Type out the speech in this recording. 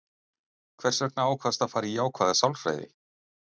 Hvers vegna ákvaðstu að fara í jákvæða sálfræði?